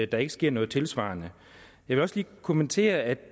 der ikke sker noget tilsvarende jeg vil også lige kommentere at